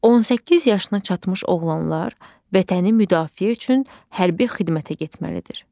18 yaşına çatmış oğlanlar vətəni müdafiə üçün hərbi xidmətə getməlidir.